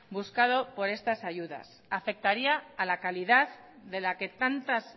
buscado por estas ayudas afectaría a la calidad de la que tantas